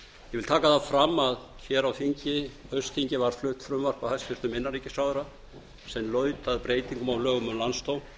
vil taka það fram að hér á haustþingi var flutt frumvarp af hæstvirtum innanríkisráðherra sem laut að breytingum á lögum um landsdóm